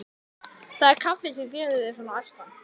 Það er kaffið sem gerir þig svona æstan.